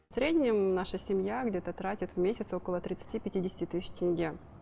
в среднем наша семья где то тратит в месяц около тридцати пятидесяти тысяч тенге